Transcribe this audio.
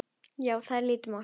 Já, það er lítið mál.